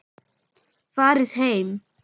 Farið heim!